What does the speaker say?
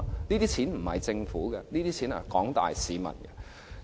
這些錢不是政府的，是廣大市民的。